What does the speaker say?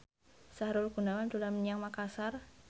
Sahrul Gunawan dolan menyang Makasar